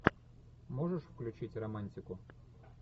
можешь включить романтику